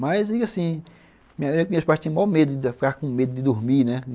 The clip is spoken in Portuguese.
Mas, assim, minhas pais tinham mó medo, ficavam com medo de dormir, né?